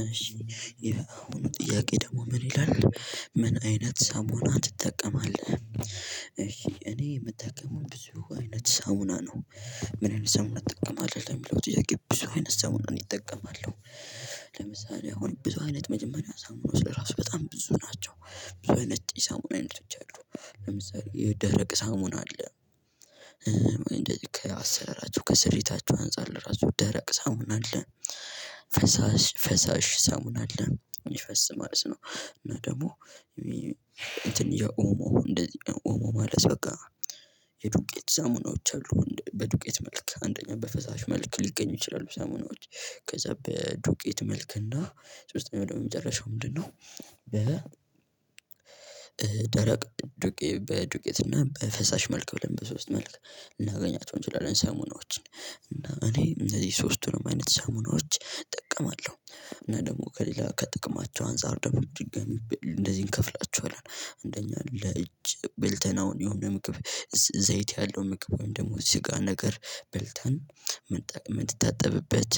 እሺ የአሁኑ ጥያቄ ደግሞ ምን ይላል ምንአይነት ሳሙና ትጠቀማለህ? እሺ እኔ የምጠቀመው ብዙ አይነት ሳሙና ነው። ምን ሳሙና ትጠቀማለህ ለሚለው ጥያቄ ብዙ አይነት ሳሙና እኔ እጠቀማለሁ። ለምሳሌ አሁን ብዙ አይነት መጀመርያ ሳሙናዎች ለራሱ በጣም ብዙ ናቸው። ብዙ አይነት የሳሙና አይነቶች አሉ። ለምሳሌ የደረቅ ሳሙና አለ። ከአሰራራቸው ከስሪታቸው አንፃር ለራሱ ደረቅ ሳሙና አለ። ፈሳሽ ፈሳሽ ሳሙና አለ የሚፈስ ማለት ነው። እና ደግሞ እንትን የኦሞ እንደዚህ ኦሞ ማለት በቃ የዱቄት ሳሙናዎች አሉ በዱቄት መልክ አንደኛ በፈሳሽ መልክ ሊገኙ ይችላል። ሳሙናዎች ከዛ በዱቄት መልክ እና ሶስተኛው ደግሞ የመጨረሻው ምንድነው? በ ደረቅ ዱቄ በዱቄት እና በፈሳሽ መልክ ብለን በሶስት መልክ እናገኛቸው እንችላለን ሳሙናዎችን እና እኔ እነዚህ ሶስቱንም አይነት ሳሙናዎች እጠቀማለሁ። እና ደግሞ ከሌላ ከጥቅማቸው አንፃር ደግሞ ድጋሚ እንደዚህ እንከፍላችኋለን አንደኛ ለእጅ በልተን አሁን የሆነ ምግብ። ዘይት ያለው ምግብ ወይም ደግሞ ስጋ ነገር በልተን ምንጠቀም የምትጣጠብበት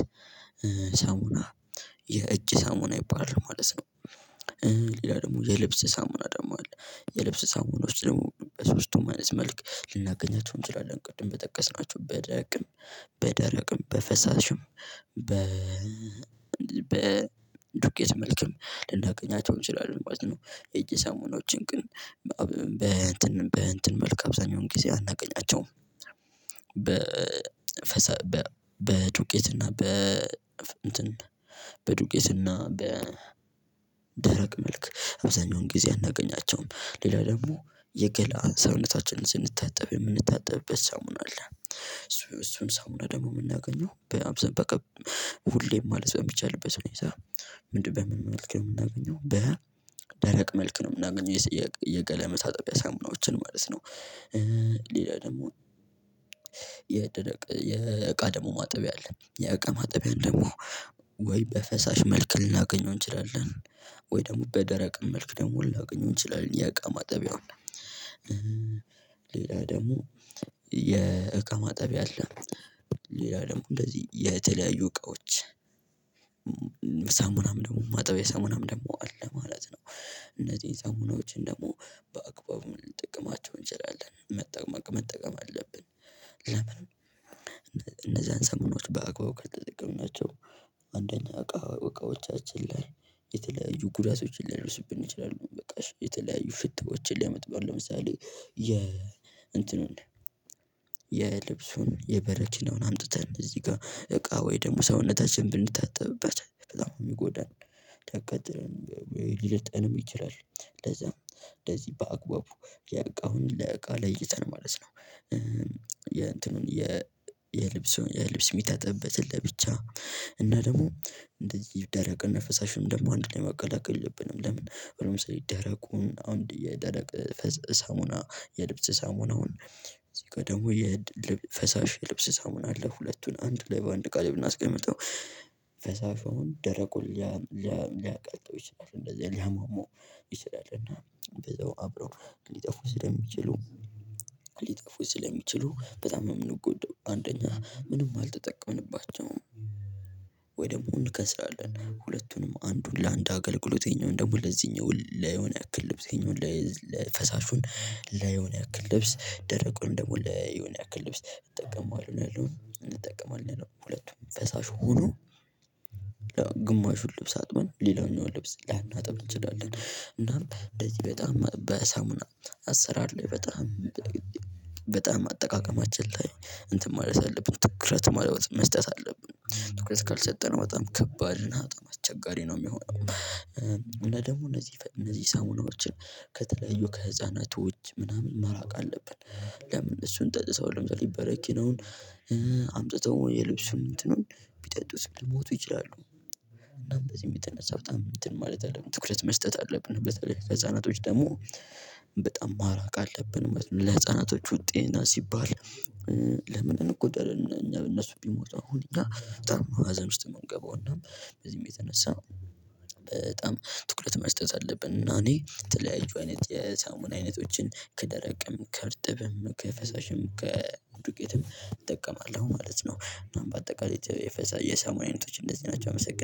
ሳሙና የእጅ ሳሙና ይባላል ማለት ነው። ሌላ ደግሞ የልብስ ሳሙና ደግሞ አለ። የልብስ ሳሙኖች ደግሞ በሶስቱም አይነት መልክ ልናገኛቸው እንችላለን ቅድም በጠቀስናቸው በደቅም በደረቅም በፈሳሽም በ በ ዱቄት መልክም ልናገኛቸው እንችላለን ማለት ነው። የእጅ ሳሙናዎችን ግን በአብ በእንትን በእንትን መልክ አብዛኛውን ጊዜ አናገኛቸውም። በ በ በዱቄት እና በ እንትን በዱቄትና በ ደረቅ መልክ አብዛኛውን ጊዜ አናገኛቸውም። ሌላ ደግሞ የገላ ሰውነታችንን ስንታጠብ የምንታጠብበት ሳሙና አለ እሱ እሱም ሳሙና ደግሞ የምናገኘው በአብዛኛው በቃ ሁሌም ማለት በሚቻልበት ሁኔታ። ምንድነው በምን መልክ ነው የምናገኘው በ ደረቅ መልክ ነው የምናገኘው የሰ የገላ መታጠቢያ ሳሙናዎችን ማለት ነው። ሌላ ደግሞ የደረቅ የእቃ ደግሞ ማጠቢያ አለ የእቃ ማጠቢያ ደግሞ ወይ በፈሳሽ መልክ ልናገኘው እንችላለን። ወይ ደግሞ በደረቅ መልክ ደግሞ ልናገኘው እንችላለን የእቃ ማጠቢያ ሌላ ደግሞ የእቃ ማጠቢያ አለ። ሌላ ደግሞ እንደዚህ የተለያዩ እቃዎች ሳሙናም ደግሞ ማጠብያ ሳሙናም ደግሞ አለ ማለት ነው። እነዚህን ሳሙናዎችን ደግሞ በአግባቡ ልንጠቀማቸው እንችላለን መጠ መጠቀም አለብን። ለምን? እነዛን ሳሙናዎች በአግባቡ ካልተጠቀምናቸው አንደኛ እቃ እቃዎቻችን ላይ የተለያዩ ጉዳቶችን ሊያደርሱብን ይችላሉ። በቃ እሽ የተለያዩ ሽታዎችን ሊያመጡ አሁን ለምሳሌ የ እንትኑን የልብሱን የበረኪናውን አምጥተን እዚህ ጋር እቃ ወይ ደግሞ ሰውነታችን ብንታጠብበት በጣም ነው የሚጎዳን። ሊያቃጥለን ወይ ሊልጠንም ይችላል። ለዛም እንደዚህ በአግባቡ የእቃውን ለእቃ ለይተን ማለት ነው። የእንትኑን የ የልብሱን የልብስ የሚታጠብበትን ለብቻ እና ደግሞ እንደዚህ ደረቅ እና ፈሳሽም ደግሞ አንድ ላይ ማቀላቀል የለብንም። ለምን አሁን ለምሳሌ ደረቁን አሁን የደረቅ ፈስ ሳሙና የልብስ ሳሙናውን እዚህ ጋር ደግሞ የድልብ ፈሳሽ የልብስ ሳሙና አለ ሁለቱን አንድ ላይ በአንድ እቃ ላይ ብናስቀምጠው ፈሳሹ አሁን ደረቁን ሊያ ሊያ ሊያቀልጠው ይችላል። እንደዛ ሊያሟሟው ይችላል። እና በዛው አብረው ሊጠፉ ስለሚችሉ ሊጠፉ ስለሚችሉ በጣም ነው የምንጎዳው አንደኛ ምንም አልተጠቀምንባቸውም። ወይ ደግሞ እንከስራለን ሁለቱንም አንዱን ለአንድ አገልግሎት ይሄኛው ደግሞ ለዚህኛው ለዮነ ያክል ልብስ ይሄኛው ለፈሳሹን ለ ለዮነ ያክል ልብስ ደረቁን ደግሞ ለዮነ ያክል ልብስ እጠቀማለሁ እንጠቀማለን ሁለቱም ፈሳሽ ሆኖ ግማሹን ልብስ አጥበን ሌላኛውም ልብስ ላናጥብ እንችላለን እናም እንደዚህ በጣም በሳሙና አሰራር ላይ በጣም በጣም አጠቃቀማችን ላይ እንትን ማለት አለብን ትኩረት ማለወጥ መስጠት አለብን ትኩረት ካልሰጠነው በጣም ከባድና በጣም አስቸጋሪ ነው የሚሆነው። እና ደግሞ እነዚህ እነዚህ ሳሙናዎችን ከተለያዩ ከህፃናቶች ምናምን ማራቅ አለብን። ለምን እሱን ጠጥተው ለምሳሌ በረኪናውን አምጥተው የልብሱን እንትኑን ቢጠጡት ሊሞቱ ይችላሉ። እናም በዚህም የተነሳ በጣም እንትን ማለት አለብን ትኩረት መስጠት አለብን። በተለይ ህፃናቶች ደግሞ በጣም ማራቅ አለብን ማለት ነው። ለህፃናቶቹ ጤንነት ሲባል ለምን እንጎዳለን እኛ እነሱ ቢሞቱ አሁን እኛ በጣም ሀዘን ውስጥ የምንገባው እና በዚህም የተነሳ በጣም ትኩረት መስጠት አለብን። እና እኔ የተለያዪ አይነት የሳሙና አይነቶችን ከደረቅም ከእርጥብም ከፈሳሽም ከዱቄትም እጠቀማለሁ ማለት ነው። እና በአጠቃላይ የፈሰሰ የሳሙና አይነቶች እንደዚህ ናቸው አመሰግናለሁ